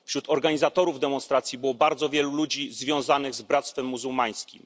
Wśród organizatorów demonstracji było bardzo wielu ludzi związanych z Bractwem Muzułmańskim.